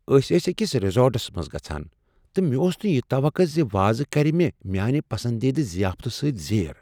أسۍ ٲسۍ أکس ریزورٹس منٛز گژھان تہٕ مےٚ ٲس نہٕ یہ توقع ز وازٕ كرِ مےٚ میٲنہِ پسندیدٕ زیافتہٕ سۭتۍ زیر ۔